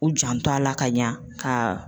U janto a la ka ɲa ka